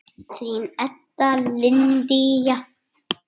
Þín Edda Lydía.